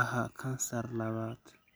aha kansar labaad.